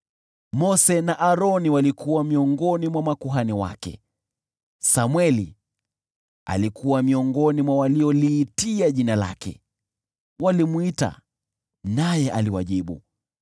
Mose na Aroni walikuwa miongoni mwa makuhani wake, Samweli alikuwa miongoni mwa walioliitia jina lake; walimwita Bwana , naye aliwajibu.